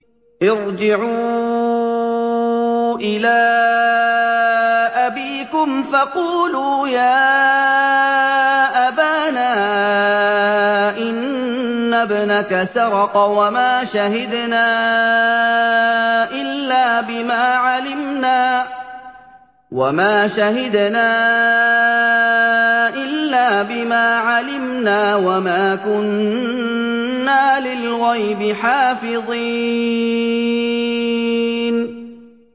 ارْجِعُوا إِلَىٰ أَبِيكُمْ فَقُولُوا يَا أَبَانَا إِنَّ ابْنَكَ سَرَقَ وَمَا شَهِدْنَا إِلَّا بِمَا عَلِمْنَا وَمَا كُنَّا لِلْغَيْبِ حَافِظِينَ